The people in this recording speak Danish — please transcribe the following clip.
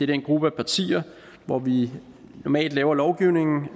den gruppe af partier hvor vi normalt laver lovgivning